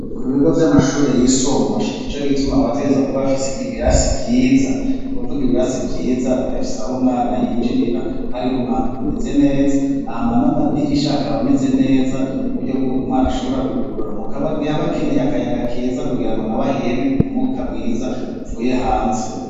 Ku bigo vy'amashuri yisumbuye nico gituma bategerezwa kuba bafise ibirasi vyiza ni kuvuga ibirasi vyiza birafise aho umwana yinjirira hariho umwango umeze neza, hama n'amadirisha akaba ameze neza uburyo bw'uko umwana ashobora kuhugurura mu gihe aba akeneye akayaga keza kugira ngo nawe aheme umwuka mwiza uvuye hanze.